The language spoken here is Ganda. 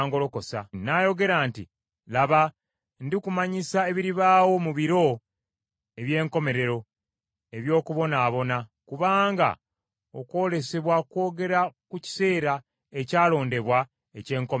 N’ayogera nti, “Laba, ndikumanyisa ebiribaawo mu biro eby’enkomerero eby’okubonaabona, kubanga okwolesebwa kwogera ku kiseera ekyalondebwa eky’enkomerero.